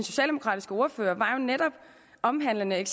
socialdemokratiske ordfører omhandlede